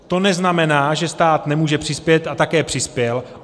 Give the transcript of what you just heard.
To neznamená, že stát nemůže přispět, a také přispěl.